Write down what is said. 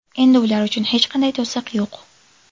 Endi ular uchun hech qanday to‘siq yo‘q.